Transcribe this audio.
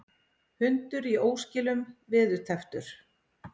Hundur í óskilum veðurtepptur